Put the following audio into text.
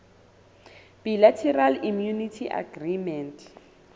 bilateral immunity agreement